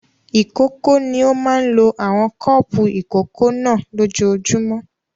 Ìkókó ni ó máa ń lo àwọn kọ́ọ́pù ìkókó náà lójoojúmọ́.